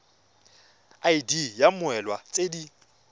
id ya mmoelwa tse di